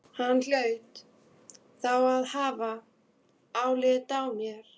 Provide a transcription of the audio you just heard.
Hann hlaut þá að hafa álit á mér!